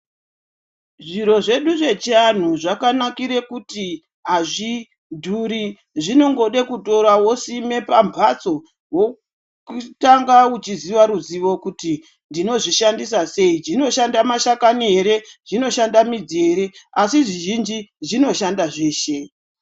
Zviro zvedu zvechiantu zvakanakire kuti azvidhuri zvinongode kutora wosime pamphatso wotanga uchiziya ruzivo kuti ndinozvishandisa sei zvinoshanda mashakani ere, zvinoshanda midzi ere asi zvizhinji zvinoshanda zveshe.